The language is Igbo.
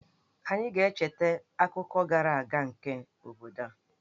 Anyị ga-echeta akụkọ gara aga nke obodo a.